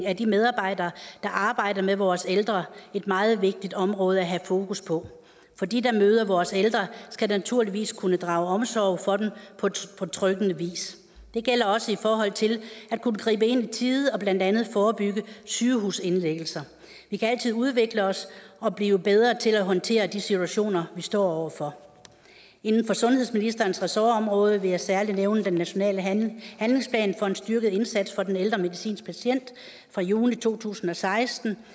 af de medarbejdere der arbejder med vores ældre et meget vigtigt område at have fokus på for de der møder vores ældre skal naturligvis kunne drage omsorg for dem på betryggende vis det gælder også i forhold til at kunne gribe ind i tide og blandt andet forebygge sygehusindlæggelser vi kan altid udvikle os og blive bedre til at håndtere de situationer vi står over for inden for sundhedsministerens ressortområde vil jeg særlig nævne den nationale handlingsplan for en styrket indsats for den ældre medicinske patient fra juni to tusind og seksten